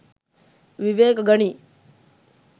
විවේක ගනියි.